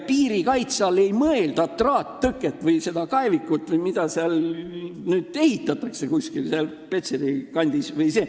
Piirikaitse all ei mõelda traattõket või kraavi või mida seal Petseri kandis nüüd ehitataksegi.